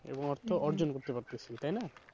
এবং অর্থ অর্জন করতে পারতাছি তাই না?